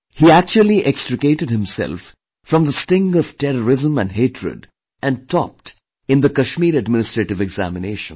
He actually extricated himself from the sting of terrorism and hatred and topped in the Kashmir Administrative Examination